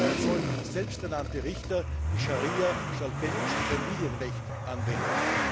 Dabei sollen selbsternannte Richter die Scharia statt belgischem Familienrecht anwenden.